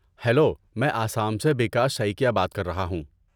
Hello! میں آسام سے بیکاش سائکیا بات کر رہا ہوں۔